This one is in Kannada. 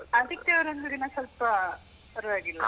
ಆದಿತ್ಯವಾರ ಒಂದು ದಿನ ಸ್ವಲ್ಪ ಪರವಾಗಿಲ್ಲ.